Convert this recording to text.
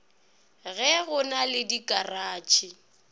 ge go na le dikaratšhe